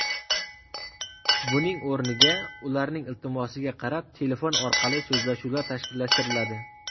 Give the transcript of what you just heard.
Buning o‘rniga ularning iltimosiga qarab telefon orqali so‘zlashuvlar tashkillashtiriladi.